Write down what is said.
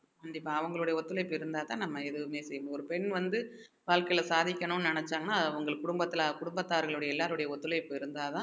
கண்டிப்பா அவங்களுடைய ஒத்துழைப்பு இருந்தாத்தான் நம்ம எதுவுமே செய்ய முடியும் ஒரு பெண் வந்து வாழ்க்கையில சாதிக்கணும்ன்னு நினைச்சாங்கன்னா அவங்க குடும்பத்துல குடும்பத்தார்களுடைய எல்லாருடைய ஒத்துழைப்பு இருந்தாதான்